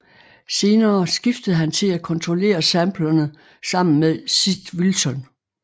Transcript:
Senere skiftede han til at kontrollere samplerne sammen med Sid Wilson